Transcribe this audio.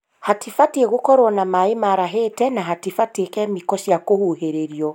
Hatibatiĩ gũkorwo na maĩ marahĩte na hatibatiĩ kemiko cia kũhuhĩrĩrio